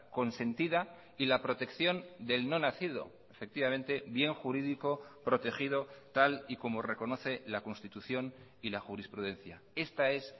consentida y la protección del no nacido efectivamente bien jurídico protegido tal y como reconoce la constitución y la jurisprudencia esta es